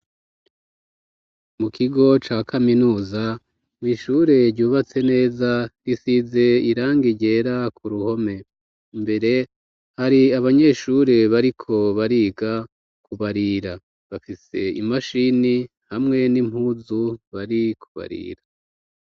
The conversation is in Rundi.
Mu kigo ca kaminuza, mw'ishure ryubatse neza, risize irangi ryera ku ruhome, mbere hari abanyeshure bariko bariga kubarira, bafise imashini hamwe n'impuzu bari kubarira.